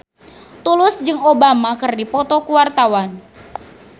Tulus jeung Obama keur dipoto ku wartawan